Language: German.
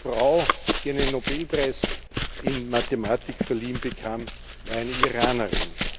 Die erste Frau, die einen Nobelpreis in Mathematik verliehen bekam, war eine Iranerin.